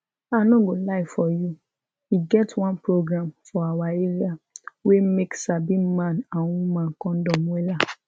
i no go lie for you e get one program for awa area wey make sabi man and woman condom wella